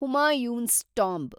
Humayun's tomb